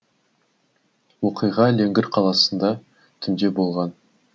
оқиға леңгір қаласында түнде болған